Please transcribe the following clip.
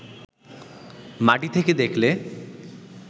মাটি থেকে দেখলে